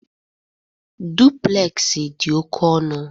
Duplexi dị oke ọnụ